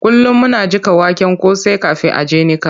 Kullum muna jiƙa waken kosai kafin a je a niƙa.